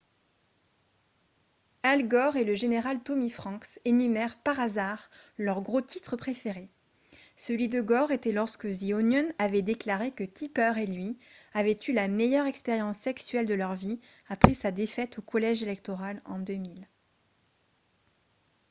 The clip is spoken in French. al gore et le général tommy franks énumèrent par hasard leurs gros titres préférés celui de gore était lorsque the onion avait déclaré que tipper et lui avaient eu la meilleure expérience sexuelle de leur vie après sa défaite au collège électoral en 2000